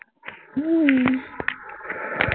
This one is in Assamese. উম